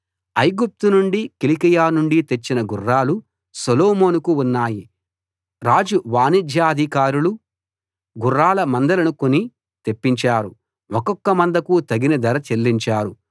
ఐగుప్తు నుండి కిలికియ నుండి తెచ్చిన గుర్రాలు సొలొమోనుకు ఉన్నాయి రాజు వాణిజ్యాధికారులు గుర్రాల మందలను కొని తెప్పించారు ఒక్కొక్క మందకు తగిన ధర చెల్లించారు